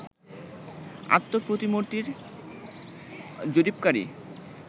আত্মপ্রতিমূর্তির জরিপকারী